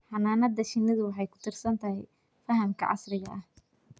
Xannaanada shinnidu waxay ku tiirsan tahay fahamka casriga ah.